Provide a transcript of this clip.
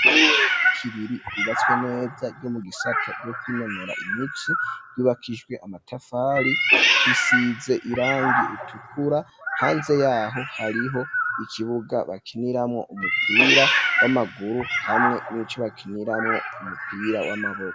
Ishure ryi Kiriri ryubatswe neza ryo mu gisata ryo kwinonora iminsi yubakishijwe amatafari risize irangiye itukura hanze yaho hariho ikibuga bakiniramwo umupira w'amaguru hamwe nico bakiniramwo umupira w'amaboko.